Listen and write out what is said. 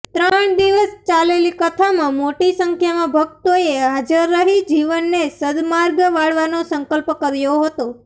ત્રણ દિવસ ચાલેલી કથામાં મોટી સંખ્યામાં ભકતોએ હાજર રહી જીવનને સદમાર્ગે વાળવાનો સંકલ્પ કર્યો હતો